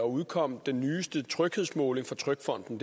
uge udkom den nyeste tryghedsmåling fra trygfonden